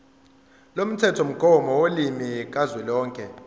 lomthethomgomo wolimi kazwelonke